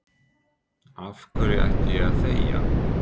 Af hverju ætti ég að þegja?